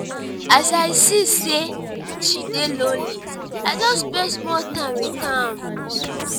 as i see sey she dey lonely i just spend small time wit am.